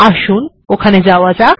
আসুন ওখানে যাওয়া যাক